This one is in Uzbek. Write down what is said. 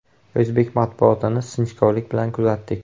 O‘zbek matbuotini sinchikovlik bilan kuzatdik.